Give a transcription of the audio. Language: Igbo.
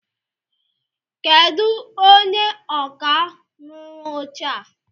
Kedụ onye ọkà rụrụ oche a?